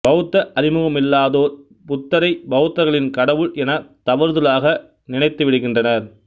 பௌத்த அறிமுகமில்லாதோர் புத்தரைப் பௌத்தர்களின் கடவுள் எனத் தவறுதலாக நினைத்துவிடுகின்றனர்